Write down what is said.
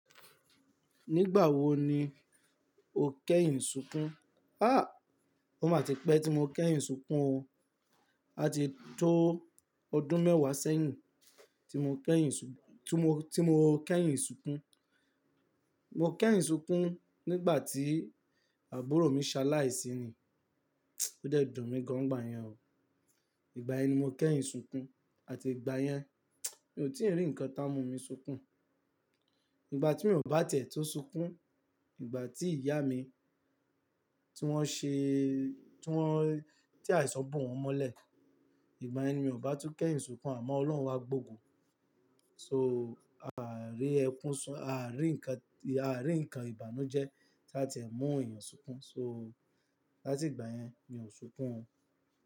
Nígbà wo ni o kẹ́yìn sunkún? Há! Ó máa ti pẹ́ tí mo kẹ́yìn sunkún o. A ti tó ọdún mẹ́wàá sẹ́yìn tí mo kẹ́yìn sunkún. Mo kẹ́yìn sunkún nígbà tí àbúrò mi ṣaláì síi. Ó dẹ̀ dùn mí gan gbà yẹn o. Ìgbà yẹ ni mo kẹ́yìn sunkún àti ìgbà yẹn, mi ò tíì rí ǹkan tá mú mi sunkún. Ìgbà tí mi ò bá tẹ̀ tó sunkún, ìgbà tí ìyá mi, tí wọ́n ṣe-- tí wọ́n, tí aìsọ́ bù wọn mọ́lẹ̀, ìgbà ẹni mi ò bá tún kẹ́yìn sunkún àmọ́ Ọlọ́run wa gbòò. So, a à rí ẹkún sun-- a à rí ǹkan, a à rí ǹkan ìbànújẹ́ tí a ti ẹ mú ènìyàn sunkún. So, láti ìgbà yẹn mi ò sunkún o.